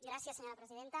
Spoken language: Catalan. gràcies senyora presidenta